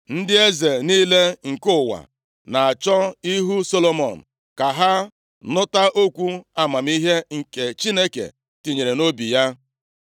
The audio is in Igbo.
Ndị eze niile nke ụwa na-achọ ihu Solomọn, ka ha nụta okwu amamihe nke Chineke tinyere nʼobi ya.